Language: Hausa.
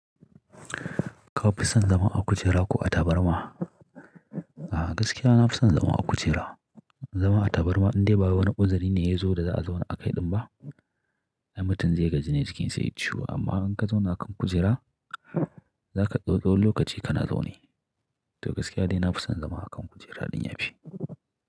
Ka fi son zama a kujera ko a taburma? A'a, gaskiya na fi son zama a kujera. Zama a tabarma indai babu wani kuzari ne ya zo da za'a zauna a kaiɗin ba. Ai mutum zai gaji ne jikin sa ya yi ciwo, amma in ka zauna a kan kujera za ka ɗau tsahon lokaci ka na zaune. To gaskiya dai na fi son zama a kan kujera ɗinya biyu.